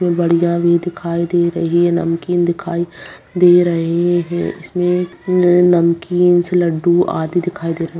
इ बढ़िया भी दिखाई दे रही नमकीन दिखाई दे रहे हैं इसमें नए नमकिंस लड्डू आदि दिखाई दे रहे हैं।